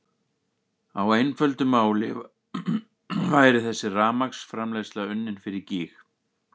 Á einföldu máli væri þessi rafmagnsframleiðsla unnin fyrir gýg!